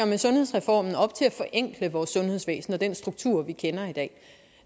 med sundhedsreformen op til at forenkle vores sundhedsvæsen og den struktur vi kender i dag